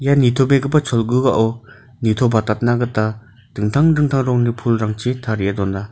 nitobegipa cholgugao nitobatatna gita dingtang dingtang rongni pulrangchi tarie dona.